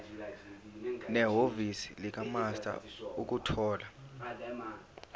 nehhovisi likamaster ukuthola